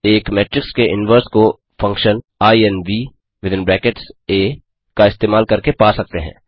एक मेट्रिक्स के इनवर्स को फंक्शन इन्व का इस्तेमाल करके पा सकते हैं